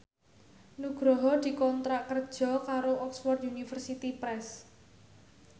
Nugroho dikontrak kerja karo Oxford University Press